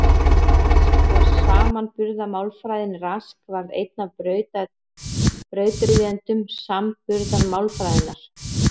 Rask og samanburðarmálfræðin Rask varð einn af brautryðjendum samanburðarmálfræðinnar.